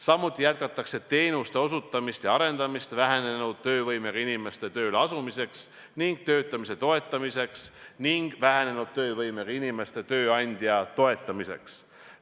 Samuti jätkatakse teenuste osutamist ja arendamist vähenenud töövõimega inimeste tööleasumise ning töötamise toetamiseks ning vähenenud töövõimega inimeste tööandja toetamiseks.